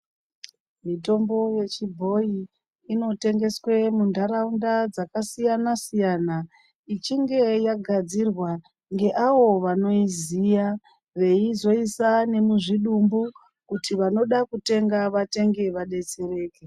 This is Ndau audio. Mitombo yechibhoyi inotengeswe munharaunda dzakasiyana-siyana ichinge yagadzirwa ngeavo vanoiziya veizoisa nemuzvidumbu kuti vanoda kutenga vatenge vadetsereke